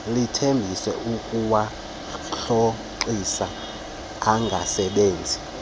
lithembise ukuwarhoxisa angasebenzi